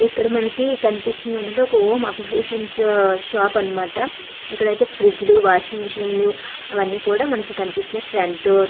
ఇక్కడ మనకి కనిపిస్తుంది ఏంటంటే ఒక హోమ్ అప్లికెన్స్ షాప్ అన్నమాట ఇక్కడ అయితే ఫ్రిజ్ లు వాషింగ్ మిషన్ లు అవన్నీ కూడా మనకి కనిపిస్తున్నాయి ఫ్రంట్ డోర్ --